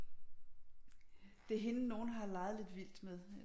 Det er hende nogen har leget lidt vildt med